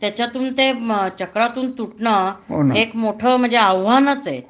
त्याच्यातून ते चक्रातून तुटणं हे एक मोठं म्हणजे आव्हानच आहे